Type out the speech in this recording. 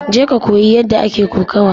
Je ka koyi yadda ake kokawa!